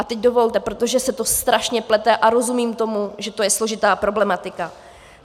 A teď dovolte, protože se to strašně plete a rozumím tomu, že to je složitá problematika.